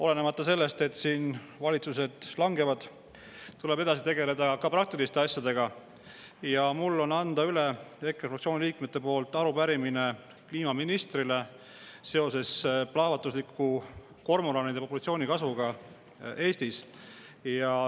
Olenemata sellest, et siin valitsused langevad, tuleb edasi tegeleda ka praktiliste asjadega ja mul on anda üle EKRE fraktsiooni liikmete nimel arupärimine kliimaministrile seoses kormoranide populatsiooni plahvatusliku kasvuga Eestis.